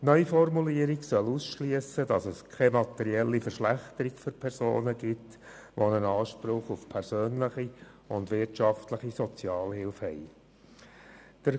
Die Neuformulierung soll eine materielle Verschlechterung für Personen ausschliessen, die Anspruch auf persönliche und wirtschaftliche Sozialhilfe haben.